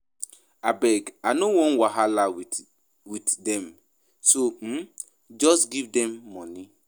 Abeg I no wan wahala with with dem so um just give dem money